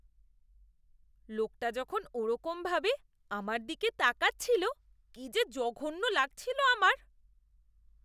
লোকটা যখন ওরকমভাবে আমার দিকে তাকাচ্ছিল, কি যে জঘন্য লাগছিল আমার!